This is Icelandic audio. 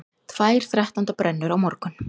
Tvær þrettándabrennur á morgun